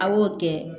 A b'o kɛ